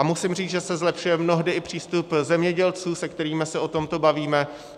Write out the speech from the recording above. A musím říct, že se zlepšuje mnohdy i přístup zemědělců, se kterými se o tomto bavíme.